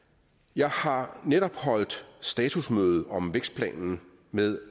jeg har netop holdt statusmøde om vækstplanen med